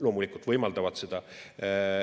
Loomulikult võimaldavad!